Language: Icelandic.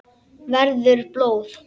Verður blóð.